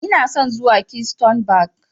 Ina son zuwa Keystone Bank.